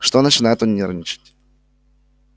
что начинает он нервничать